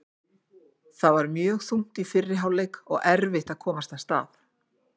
Þetta var mjög þungt í fyrri hálfleik og erfitt að komast af stað.